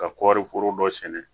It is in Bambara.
Ka kɔɔri foro dɔ sɛnɛ